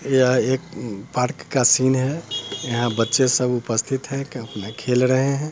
यह एक पार्क का सीन है यहाँ बच्चे सब उपस्थित है खेल रहे हैं।